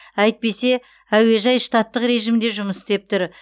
әйтпесе әуежай штаттық режімде жұмыс істеп тұр